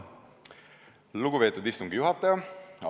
Lugupeetud istungi juhataja!